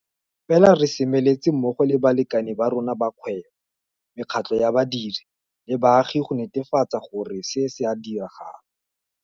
Fela re semeletse mmogo le balekane ba rona ba kgwebo, mekgatlo ya badiri le baagi go netefatsa gore se se a diragala.